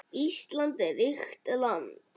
Ísland er ríkt land.